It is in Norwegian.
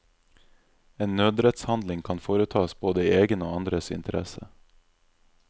En nødrettshandling kan foretas både i egen og i andres interesse.